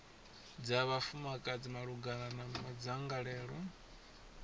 dza vhafumakadzi malugana na madzangalelo